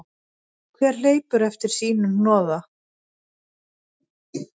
Hver hleypur eftir sínu hnoða.